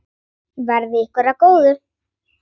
Verði ykkur að góðu.